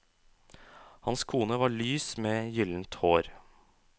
Hans kone var lys med gyllent hår.